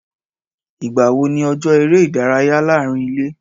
Ìgbà wo ni ọjọ́ eré ìdárayá láàárín ilé?